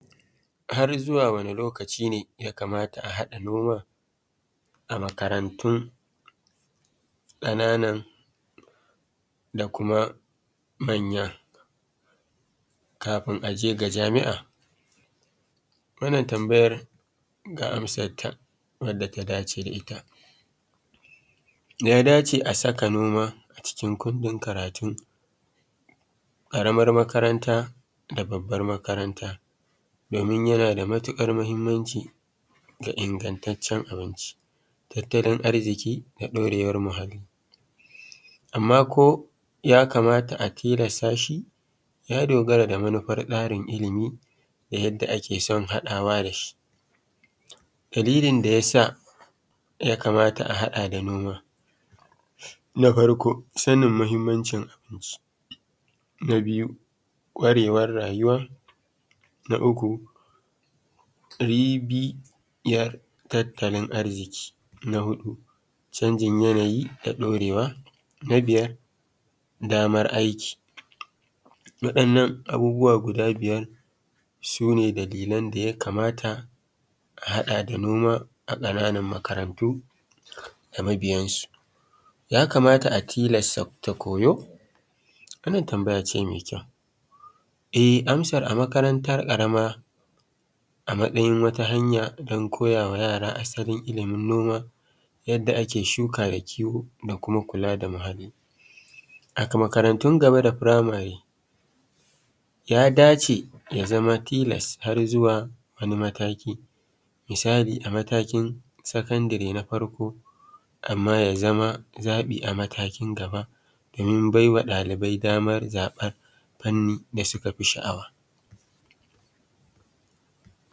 Har zuwa wane lokaci ne ya kamata a haɗa noma a makarantun ƙananan da kuma manyan kafin a je ga jami'an? Wannan tambayar ga amsarra wanda ta dace da ita, ya dace a saka noma a cikin kundin karatun karamar makaranta da babbar makaranta domin yana da matuƙar mahimmanci Ga ingantaccen abinci da tattalin arziki da ɗurewar muhalli. Amma ko ya kamata a tilasta shi? Ya dogara da manufar tsarin ilimi dake son hadawa da shi shi. Dalilin da yasa ya kamata a haɗa da noma. Na farko sanin mahimmanci abinci. Na biyu ƙwarewar rayuwa. Na uku biniyar tattalin arziki. Na huɗu canjin yanayi da ɗaurewa. Na biyar daman aiki. Waɗannan abubu guda biyar su ne dalilin da ya kamata a haɗa da noma a ƙananan makarantu da mabiyansu. Ya kamata a tilasta koyo? Wannan tambaya ce mI ƙyau, e amsa a makaranta ƙarama a matsayin wata hanya don koyawa yara asalin ilimi noma yadda ake shuka da kiwo da kuma kula da muhalli. A makarantun gaba da firamarib ya dace ya zama tilasa har zuwa mataki misali a matakin sakandire na farko amma aya zama zaɓi a matakin gaba domin baiwa ɗalibai damar zaɓar fanni da suke sha'awa.